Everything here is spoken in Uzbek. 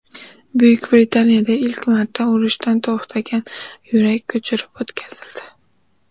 Buyuk Britaniyada ilk marta urishdan to‘xtagan yurak ko‘chirib o‘tkazildi.